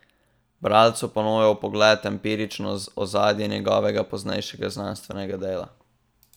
Bralcu ponuja vpogled v empirično ozadje njegovega poznejšega znanstvenega dela.